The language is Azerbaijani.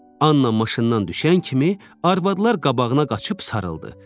Anna maşından düşən kimi arvadlar qabağına qaçıb sarıldı.